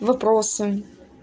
вопросы